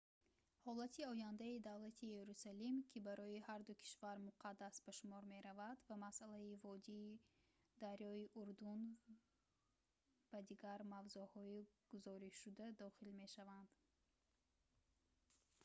ҳолати ояндаи давлати ерусалим ки барои ҳарду кишвар муқаддас ба шумор меравад ва масъалаи водии дарёи урдун ба дигар мавзӯъҳои гузоришшуда дохил мешаванд